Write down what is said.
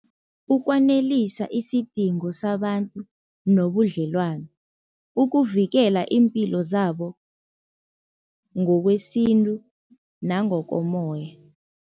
Ukwanelisa isidingo sabantu nobudlelwano, ukuvikela iimpilo zabo ngokwesintu nangokomoya.